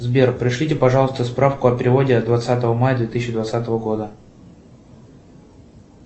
сбер пришлите пожалуйста справку о переводе от двадцатого мая две тысячи двадцатого года